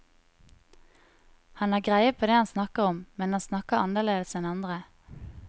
Han har greie på det han snakker om, men han snakker annerledes enn andre.